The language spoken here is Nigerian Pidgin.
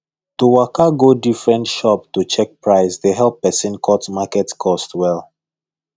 to waka go different shop to check price dey help person cut market cost well